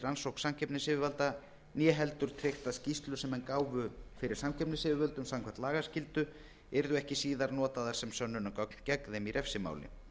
rannsókn samkeppnisyfirvalda né heldur tryggt að skýrslur sem menn gáfu fyrir samkeppnisyfirvöldum samkvæmt lagaskyldu yrðu ekki síðar notaðar sem sönnunargögn gegn þeim í refsimáli